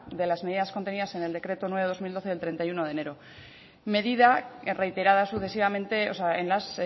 de las medidas contenidas en el decreto nueve barra dos mil doce del treinta y uno de enero medida reiterada sucesivamente o sea en las